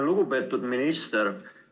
Lugupeetud minister!